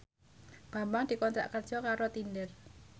Bambang dikontrak kerja karo Tinder